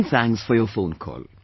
Manythanks for your phone call